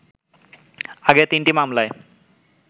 আগের তিনটি মামলায়